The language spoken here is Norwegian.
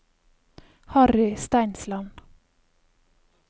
Harry Steinsland